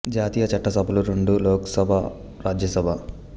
జాతీయ చట్ట సభలు రెండు లోక్ సభ రాజ్య సభ